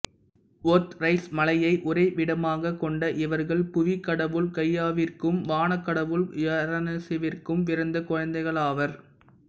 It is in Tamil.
ஒத்ரைசு மலையை உறைவிடமாகக் கொண்ட இவர்கள் புவி கடவுள் கையாவிற்கும் வானக் கடவுள் யுரேனசிற்கும் பிறந்த குழந்தைகளாவர்